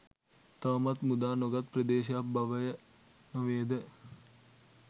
තවමත් මුදා නොගත් ප්‍රදේශයක් බවය නොවේද?